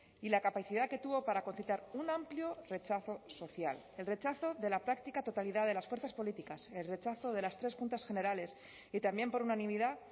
y la capacidad que tuvo para concitar un amplio rechazo social el rechazo de la práctica totalidad de las fuerzas políticas el rechazo de las tres juntas generales y también por unanimidad